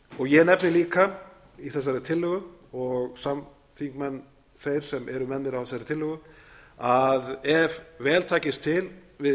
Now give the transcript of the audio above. farið ég nefni líka í þessari tillögu og samþingmenn þeir sem eru með mér á þessari tillögu að ef vel takist til við